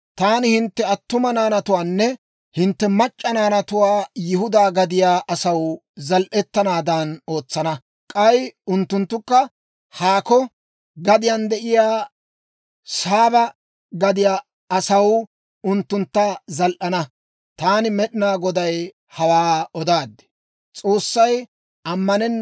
Taani hintte attuma naanatuwaanne hintte mac'c'a naanatuwaa Yihudaa gadiyaa asaw zal"etanaadan ootsana; k'ay unttunttukka haako gadiyaan de'iyaa Saaba gadiyaa asaw unttuntta zal"ana. Taani Med'inaa Goday hawaa odaad.